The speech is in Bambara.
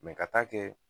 ka taa kɛ